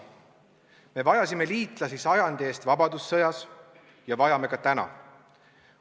Me vajasime liitlasi sajandi eest vabadussõjas ja vajame ka täna.